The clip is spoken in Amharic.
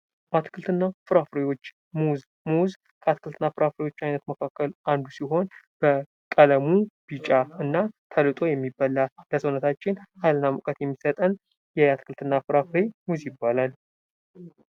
አትክልትና ፍራፍሬዎች ፡-ሙዝ ከአትክልትና ፍራፍሬዎች መካከል አንዱ ሲሆን በቀለሙ ቢጫ፣ ተልጦ የሚበላ ፤ለሰውነታችን ሀይልና ሙቀት የሚሰጥ ፍራፍሬ ነው ።